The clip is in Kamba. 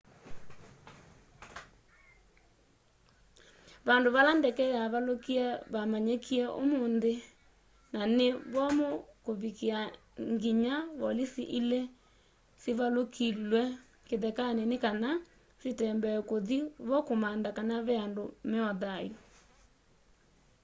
vandu vala ndeke yavalukie vamanyikie umunthi na ni vomu kuvikiia nginya volisi ili sivalukilw'e kithekani ni kana sitembee kuthi vo kumantha kana ve andu me o thayu